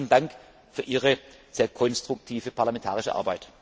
kann. Herzlichen Dank für Ihre sehr konstruktive parlamentarische Arbeit!